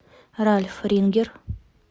ральф рингер